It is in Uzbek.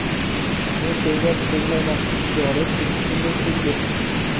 men senga tegmayman' shiori siz uchundek xuddi.